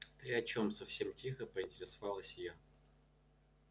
ты о чем совсем тихо поинтересовалась я